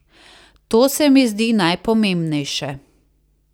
To se mi zdi najpomembnejše.